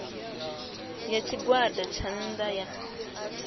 ya tshigwada tsha nnda sa